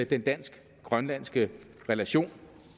den dansk grønlandske relation